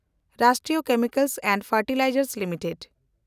ᱨᱟᱥᱴᱨᱤᱭᱚ chemicals and fertilizers limited